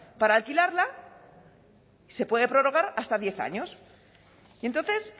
para alquilarla y se puede prorrogar hasta diez años y entonces